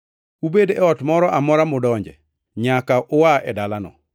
Ubed e ot moro amora mudonje, nyaka ua e dalano.